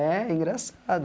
É engraçado.